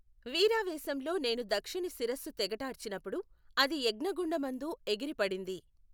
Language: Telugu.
వీరావేశంలో నేను దక్షుని శిరస్సు తెగటార్చినపుడు, అది యజ్ఞగుండమందు ఎగిరిపడింది.